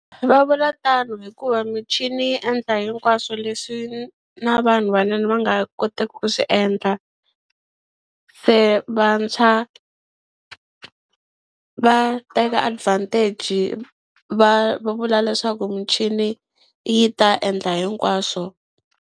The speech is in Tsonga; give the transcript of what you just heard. Va vula tano hikuva michini yi endla hinkwaswo leswi na vanhu vanene va nga koteki ku swi endla se vantshwa va teka advantage va vula leswaku michini yi ta endla hinkwaswo.